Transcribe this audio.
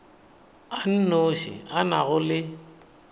a nnoši a nago le